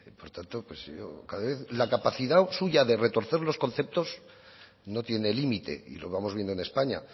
por lo tanto pues yo la capacidad suya de retorcer los conceptos no tiene límite y lo vamos viendo en españa